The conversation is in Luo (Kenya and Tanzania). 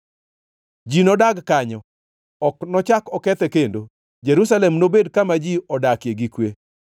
Ji nodag kanyo; ok nochak okethe kendo. Jerusalem nobed kama ji odakie gi kwe.